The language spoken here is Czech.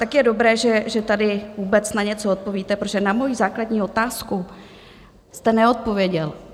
Tak je dobré, že tady vůbec na něco odpovíte, protože na moji základní otázku jste neodpověděl.